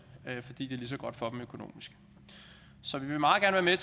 fordi det er lige så godt for dem økonomisk så vi vil meget gerne